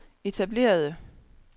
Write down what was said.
etablerede